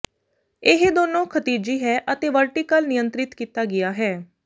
ਇਹ ਦੋਨੋ ਖਿਤਿਜੀ ਹੈ ਅਤੇ ਵਰਟੀਕਲ ਨਿਯੰਤ੍ਰਿਤ ਕੀਤਾ ਗਿਆ ਹੈ